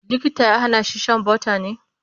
likita ya Hana shi Shan butter ne?